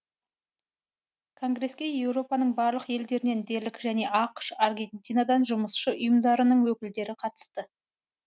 конгреске еуропаның барлық елдерінен дерлік және ақш аргентинадан жұмысшы ұйымдарының өкілдері қатысты